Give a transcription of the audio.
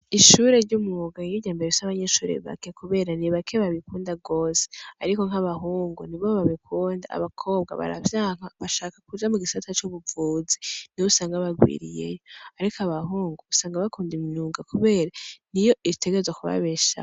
Ishure ry'umwuga niryo rya mbere rifise abanyeshure bake kubera ni bake babikunda gose ariko nk'abahungu nibo babikunda rwose, abakobwa baravyanka bashaka kuja mu gisata c'ubuvuzi niho usanga barwiriyeyo, ariko abahungu usanga bakunda imyuga kubera niyo itegerezwa kubabeshaho.